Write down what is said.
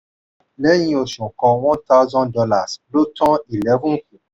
lẹ́yìn oṣù kan one thousand dollars lo tan eleven kù.